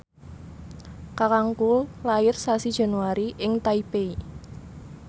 kakangku lair sasi Januari ing Taipei